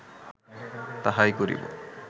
তাহাই করিব